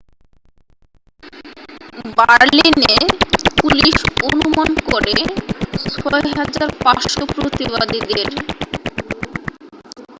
বার্লিন-এ পুলিশ অনুমান করে 6,500 প্রতিবাদীদের